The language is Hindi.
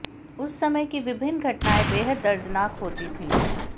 उस समय की विभिन्न घटनाएं बेहद दर्दनाक होती थीं